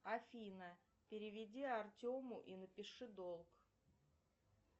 афина переведи артему и напиши долг